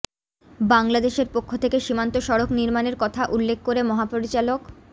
বাংলাদেশের পক্ষ থেকে সীমান্ত সড়ক নির্মাণের কথা উল্লেখ করে মহাপরিচালক